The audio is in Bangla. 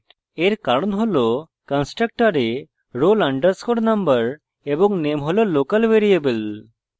এর কারণ roll কন্সট্রকটরে roll _ number এবং name roll local ভ্যারিয়েবল